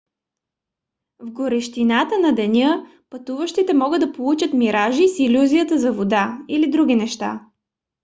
в горещината на деня пътуващите могат да получат миражи с илюзията за вода или други неща